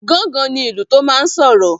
Gángan ní ìlú tó máa n sọ̀rọ̀